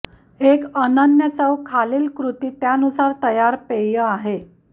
एक अनन्य चव खालील कृती त्यानुसार तयार पेय आहे